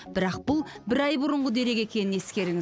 бірақ бұл бір ай бұрынғы дерек екенін ескеріңіз